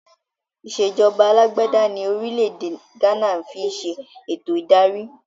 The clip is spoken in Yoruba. Ìsèjọba alàgbàda ní orílẹ̀ èdè gánà ń fi ń ṣe eto ìdarí